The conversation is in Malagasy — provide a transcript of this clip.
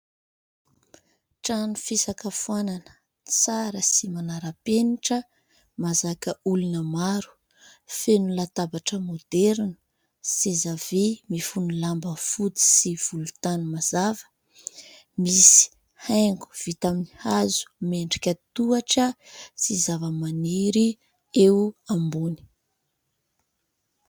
Trano fisakafoanana : tsara sy manara-penitra, mahazaka olona maro, feno latabatra maoderina, seza vy mifono lamba fotsy sy volontany mazava. Misy haingo vita amin'ny hazo miendrika tohatra, sy zavamaniry eo ambony.